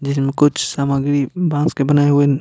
जिसमें कुछ सामग्री बांस के बने हुए--